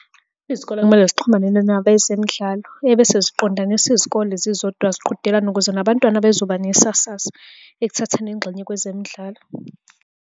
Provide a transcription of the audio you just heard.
Izikole kumele zixhumane nabezemidlalo ebese ziqondanisa izikole zizodwa ziqhudelane ukuze nabantwana bezoba nesasasa ekuthatheni ingxenye kwezemidlalo.